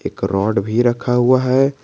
एक रॉड भी रखा हुआ है।